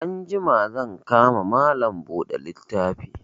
Anjima zan ka ma Malam buɗe littafi